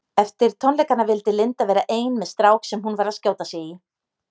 Eftir tónleikana vildi Linda vera ein með strák sem hún var að skjóta sig í.